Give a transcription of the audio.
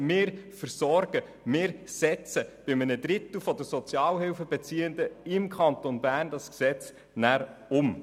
Wir setzen dieses Gesetz anschliessend bei einem Drittel der Sozialhilfebeziehenden im Kanton Bern um.